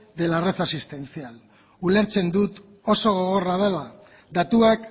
de la red asistencial ulertzen dut oso gogorra dela datuak